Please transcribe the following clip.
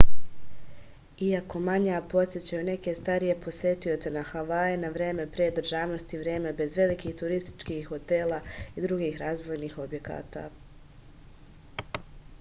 iako manja podsećaju neke starije posetioce na havaje na vreme pre državnosti vreme bez velikih turističkih hotela i drugih razvojnih objekata